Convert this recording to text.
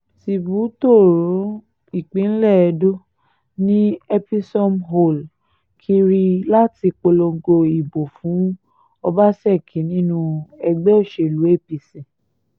tìbú tóóró ìpínlẹ̀ edo ni episomhole kiri láti polongo ìbò fún ọbasákì nínú ẹgbẹ́ òsèlú apc